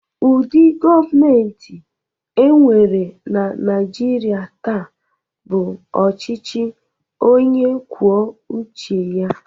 Ụdị gọọmentị e nwere na Naịjirịa taa bụ ọchịchị onye kwuo uche ya.